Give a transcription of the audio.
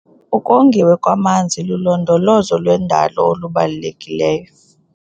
Ukongiwa kwamanzi lulondolozo lwendalo olubalulekileyo.